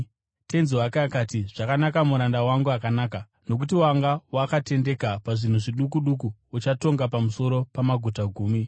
“Tenzi wake akati, ‘Zvakanaka, muranda wangu akanaka! Nokuti wanga wakatendeka pazvinhu zviduku duku, uchatonga pamusoro pamaguta gumi.’